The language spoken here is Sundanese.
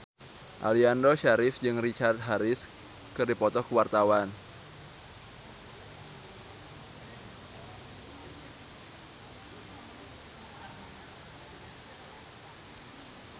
Aliando Syarif jeung Richard Harris keur dipoto ku wartawan